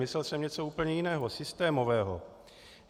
Myslel jsem něco úplně jiného, systémového.